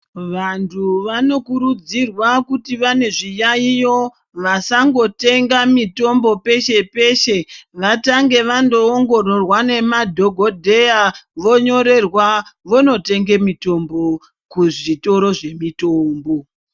Vantu vanokurudzirwa kuti vane zviyaiyo vasangotenga mitombo peshe peshe vatange vandoongororwa nemadhokodheya vonyorerwa vonotenge mitombo kuzvitoro zvemitombo.